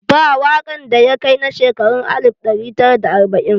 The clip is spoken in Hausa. Ba waƙan da ya kai na shekarun alif ɗari tara da arbain